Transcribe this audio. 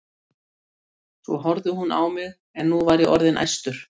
Svo horfði hún á mig en nú var ég orðinn æstur.